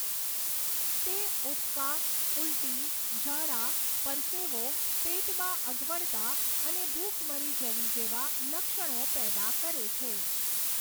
તે ઊબકા, ઊલટી, ઝાડા, પરસેવો, પેટમાં અગવડતા અને ભૂખ મરી જવી જેવા લક્ષણો પેદા કરે છે.